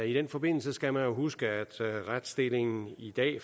i den forbindelse skal man jo huske at retsstillingen i dag i